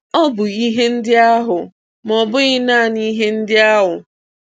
Ọ bụ ihe ndị ahụ, ma ọ bụghị naanị ihe ndị ahụ.